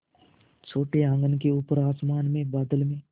छोटे आँगन के ऊपर आसमान में बादल में